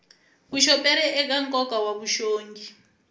vuxoperi eka nkoka wa vuxongi